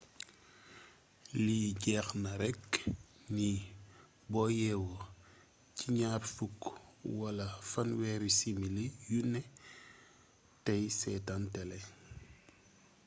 li jéexna rekk ni boo yéwo ci gnaar fukk wala fanwééri simili yuné téy sétan télé